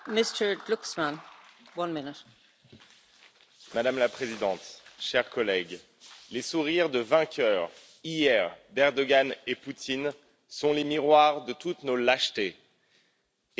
Madame la Présidente, chers collègues, les sourires de vainqueurs, hier, de M. Erdogan et de M. Poutine sont les miroirs de toutes nos lâchetés et la Syrie est devenue le nom de tous nos renoncements.